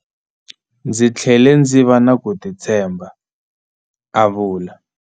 Ndzi tlhele ndzi va na ku titshemba, a vula.